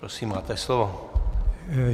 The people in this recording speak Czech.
Prosím, máte slovo.